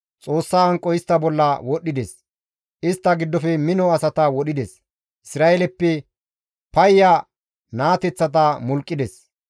Xoossa hanqoy istta bolla wodhdhides; istta giddofe mino asata wodhides; Isra7eeleppe payya naateththata mulqqides.